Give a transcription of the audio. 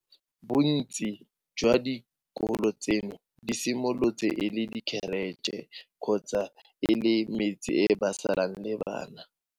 Bontsi jwa dikolo tseno di simolotse e le dikheretšhe kgotsa e le metse e ba salang le bana.